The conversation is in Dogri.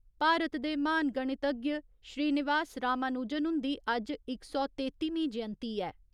भारत दे महान गणितज्ञ श्रीनिवास रामानुजन हुन्दी अज्ज इक सौ तेत्तिमीं जयंती ऐ।